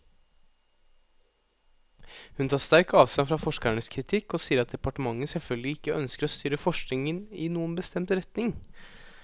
Hun tar sterkt avstand fra forskernes kritikk, og sier at departementet selvfølgelig ikke ønsker å styre forskningen i noen bestemt retning.